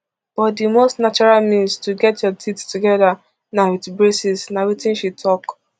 but di most natural means to get your teeth togeda na wit braces na wetin she tok